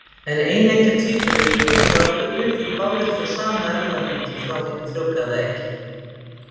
En eineggja tvíburar eru frábrugðnir, því báðir fá sama erfðamengi frá hinu frjóvgaða eggi.